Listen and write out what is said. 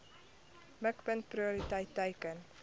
mikpunt prioriteit teiken